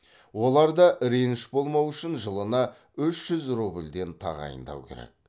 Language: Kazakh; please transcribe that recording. оларда реніш болмау үшін жылына үш жүз рубльден тағайындау керек